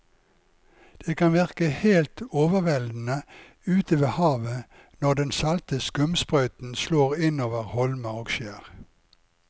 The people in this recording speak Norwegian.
Det kan virke helt overveldende ute ved havet når den salte skumsprøyten slår innover holmer og skjær.